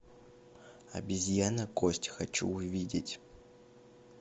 обезьяна кость хочу увидеть